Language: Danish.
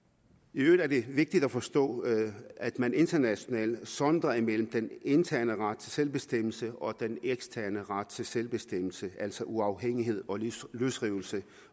i øvrigt er det vigtigt at forstå at man internationalt sondrer mellem den interne ret til selvbestemmelse og den eksterne ret til selvbestemmelse altså uafhængighed og løsrivelse